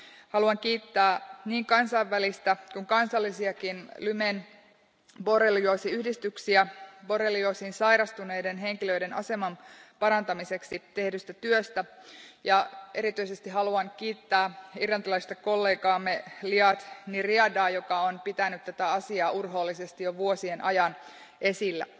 Haluan kiittää niin kansainvälistä Lymen borrelioosiyhdistystä kuin kansallisiakin yhdistyksiä borrelioosiin sairastuneiden henkilöiden aseman parantamiseksi tehdystä työstä ja erityisesti haluan kiittää irlantilaista kollegaamme Liadh Ní Riadaa, joka on pitänyt tätä asiaa urhoollisesti jo vuosien ajan esillä.